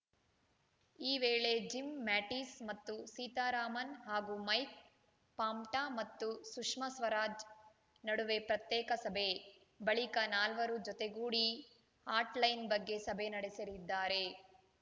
ಈ ವೇಳೆ Jim Mattis ಮತ್ತು ಸೀತಾರಾಮನ್‌ ಹಾಗೂ ಮೈಕ್‌ ಪಾಂಪ್ವಾ ಮತ್ತು ಸುಷ್ಮಾ ಸ್ವರಾಜ್‌ ನಡುವೆ ಪ್ರತ್ಯೇಕ ಸಭೆ ಬಳಿಕ ನಾಲ್ವರು ಜೊತೆಗೂಡಿ ಹಾಟ್‌ಲೈನ್‌ ಬಗ್ಗೆ ಸಭೆ ನಡೆಸಲಿದ್ದಾರೆ